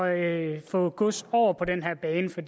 at få gods over på den her bane for